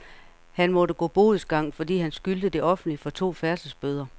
Han måtte gå bodsgang, fordi han skyldte det offentlige for to færdselsbøder.